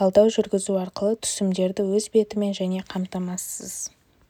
талдау жүргізу арқылы түсімдерді өз бетімен де қамтамасыз